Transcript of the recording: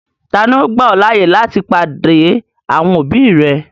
Tani ò gbà ọ̀ laaye láti padé àwọn òbí rẹ̀?